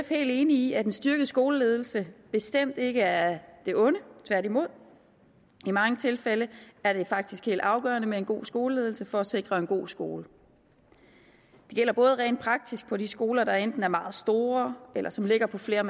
helt enige i at en styrket skoleledelse bestemt ikke er af det onde tværtimod i mange tilfælde er det faktisk helt afgørende med en god skoleledelse for at sikre en god skole det gælder både rent praktisk på de skoler der enten er meget store eller som ligger på flere